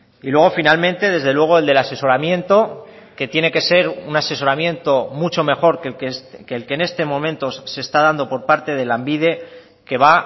y luego finalmente desde luego el del asesoramiento que tiene que ser un asesoramiento mucho mejor que el que en este momento se está dando por parte de lanbide que va